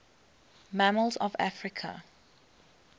mammals of africa